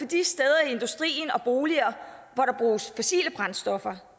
de steder i industrien og boliger hvor der bruges fossile brændstoffer